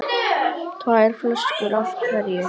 Tvær flöskur af hverju.